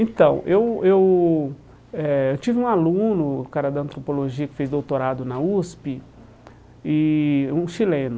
Então, eu eu eh tive um aluno, o cara da antropologia que fez doutorado na USP, e um chileno.